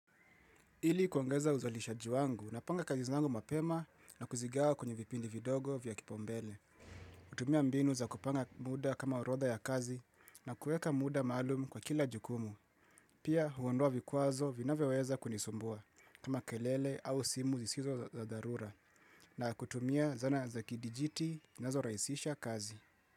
Ili kuongeza uzalishaji wangu napanga kazi zangu mapema na kuzigawa kwenye vipindi vidogo vya kipaumbele. Kutumia mbinu za kupanga muda kama orodha ya kazi na kueka muda maalum kwa kila jukumu. Pia huondoa vikwazo vinavyoweza kunisumbua kama kelele au simu zisizo za dharura na kutumia zana za kidijiti na zinazorahisisha kazi.